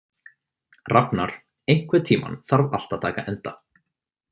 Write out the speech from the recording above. Rafnar, einhvern tímann þarf allt að taka enda.